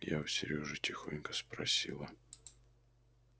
я у серёжи тихонько спросила